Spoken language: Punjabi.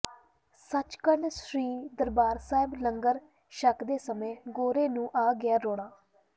ਸੱਚਖੰਡ ਸ੍ਰੀ ਦਰਬਾਰ ਸਾਹਿਬ ਲੰਗਰ ਛਕਦੇ ਸਮੇਂ ਗੋਰੇ ਨੂੰ ਆ ਗਿਆ ਰੋਣਾ